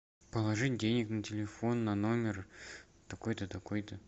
положить денег на телефон на номер такой то такой то